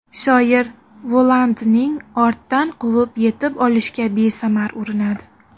Shoir Volandning ortdan quvib yetib olishga besamar urinadi.